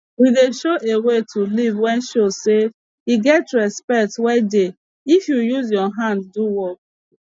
we dey show a way to live wey show say e get respect wey dey if u use ur hand do work